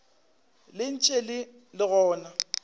le ntše le le gona